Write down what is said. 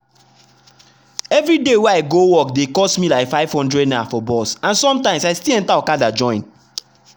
every day wey i go work dey cost me like ₦500 for bus and sometimes i still enter okada join.